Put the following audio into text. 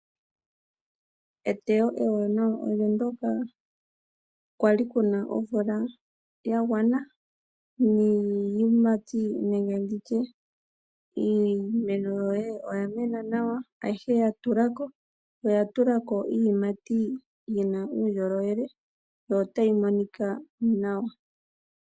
Eteyo ewanawa olyo ndyoka kwa li ku na omvula ya gwana niiyimati nenge ndi tye iimeno yoye oya mena nawa, ayihe ya tula ko, oya tula ko iiyimati yi na uundjolowele yo otayi monika nawa.